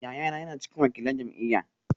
Yayana yana cikin wakilan jam’iyyar